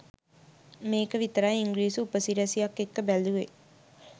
මේක විතරයි ඉංග්‍රීසි උපසිරැසියක් එක්ක බැලුවේ.